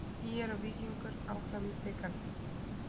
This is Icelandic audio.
ÍR og Víkingur áfram í bikarnum